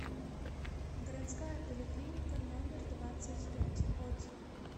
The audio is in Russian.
городская поликлиника номер двадцать пять отзывы